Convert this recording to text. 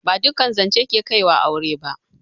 Ba duƙƙan zanche ke Kai ga aure ba.